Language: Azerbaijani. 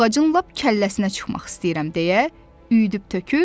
Ağacın lap kəlləsinə çıxmaq istəyirəm deyə üydüb tökür.